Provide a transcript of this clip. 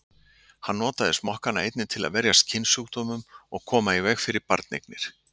Hann notaði smokkana einnig til að verjast kynsjúkdómum og koma í veg fyrir barneignir.